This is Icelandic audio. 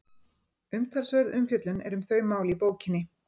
Umtalsverð umfjöllun er um þau mál í bókinni.